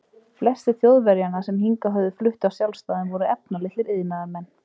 Flestir Þjóðverjanna, sem hingað höfðu flutt af sjálfsdáðum, voru efnalitlir iðnaðarmenn.